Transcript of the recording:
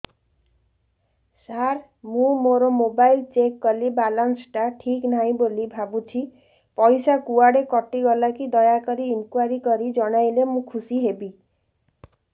ସାର ମୁଁ ମୋର mobile check କଲି ବାଲାନ୍ସ ଟା ଠିକ ନାହିଁ ବୋଲି ଭାବୁଛି ପଇସା କୁଆଡେ କଟି ଗଲା କି ଦୟାକରି ଇନକ୍ୱାରି କରି ଜଣାଇଲେ ମୁଁ ଖୁସି ହେବି